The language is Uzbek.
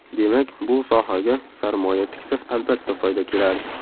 Demak, bu sohaga sarmoya tiksa, albatta, foyda keladi.